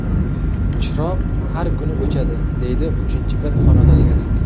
Chiroq har kuni o‘chadi”, deydi uchinchi bir xonadon egasi.